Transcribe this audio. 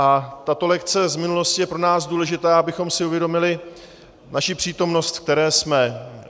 A tato lekce z minulosti je pro nás důležitá, abychom si uvědomili naši přítomnost, ve které jsme.